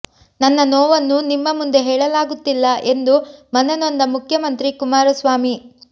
ನನ್ನ ನೋವನ್ನು ನಿಮ್ಮ ಮುಂದೆ ಹೇಳಲಾಗುತ್ತಿಲ್ಲ ಎಂದು ಮನನೊಂದ ಮುಖ್ಯಮಂತ್ರಿ ಕುಮಾರಸ್ವಾಮಿ